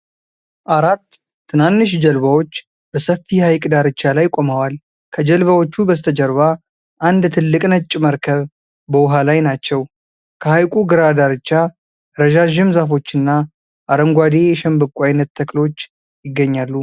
አራት ትናንሽ ጀልባዎች በሰፊ ሐይቅ ዳርቻ ላይ ቆመዋል። ከጀልባዎቹ በስተጀርባ አንድ ትልቅ ነጭ መርከብ በውሃ ላይ ናቸው። ከሐይቁ ግራ ዳርቻ ረዣዥም ዛፎችና አረንጓዴ የሸንበቆ ዓይነት ተክሎች ይገኛሉ።